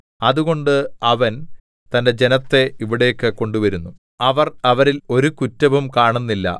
അതുകൊണ്ട് അവൻ തന്റെ ജനത്തെ ഇവിടേക്ക് കൊണ്ടുവരുന്നു അവർ അവരില്‍ ഒരു കുറ്റവും കാണുന്നില്ല